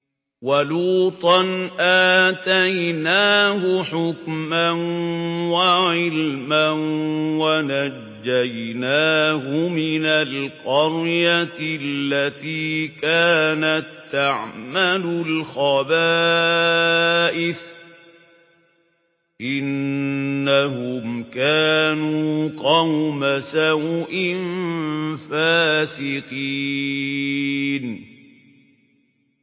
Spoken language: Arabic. وَلُوطًا آتَيْنَاهُ حُكْمًا وَعِلْمًا وَنَجَّيْنَاهُ مِنَ الْقَرْيَةِ الَّتِي كَانَت تَّعْمَلُ الْخَبَائِثَ ۗ إِنَّهُمْ كَانُوا قَوْمَ سَوْءٍ فَاسِقِينَ